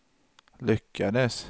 lyckades